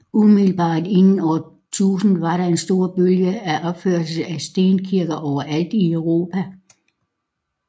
Umiddelbart inden år 1000 var der en stor bølge af opførsler af stenkirker overalt i Europa